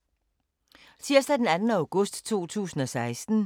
Tirsdag d. 2. august 2016